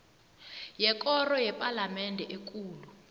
yekoro yepalamende ekulu